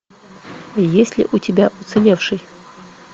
есть ли у тебя уцелевший